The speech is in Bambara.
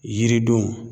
Yiridenw